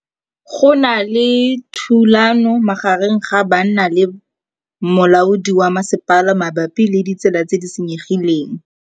Go na le thulanô magareng ga banna le molaodi wa masepala mabapi le ditsela tse di senyegileng.